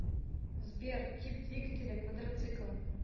сбер тип двигателя квадроцикл